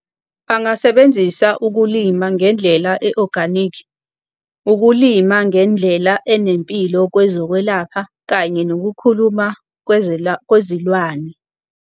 Angasebenzisa ukulima ngendlela e-organic, ukulima ngendlela enempilo kwezokwelapha kanye nokukhuluma kwezilwane.